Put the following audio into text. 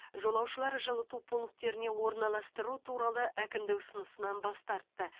жолаушылар жылыту пунктеріне орналастыру туралы әкімдік ұсынысынан бас тартты